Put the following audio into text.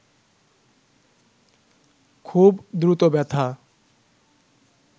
খুব দ্রুত ব্যথা